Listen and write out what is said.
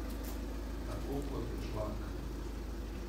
Tako kot Žlak.